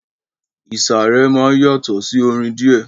Ìsàrẹ̀ máa yàtọ̀ sí orin díẹ̀.